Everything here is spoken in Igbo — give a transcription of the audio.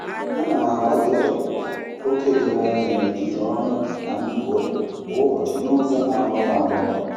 Ana m agbalị ịtọpụta oke doro anya n'etiti ọrụ na ndụ ụlọ kwa ụbọchị n'ụzọ na-agbanwe agbanwe.